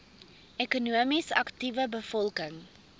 ekonomies aktiewe bevolking